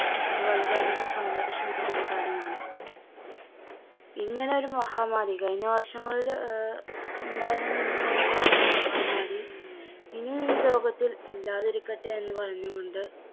അത് വളരെ അധികം സന്തോഷമുള്ള ഒരു കാര്യമാണ്. ഇങ്ങനെ ഒരു മഹാമാരി കഴിഞ്ഞ വർഷങ്ങളില് ആഹ് ഉണ്ടായിരുന്ന ഇങ്ങനെയുള്ളൊരു മഹാമാരി ഇനീം ഈ ലോകത്തിൽ ഇല്ലാതിരിക്കട്ടെ എന്ന് പറഞ്ഞുകൊണ്ട്